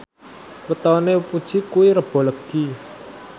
wetone Puji kuwi Rebo Legi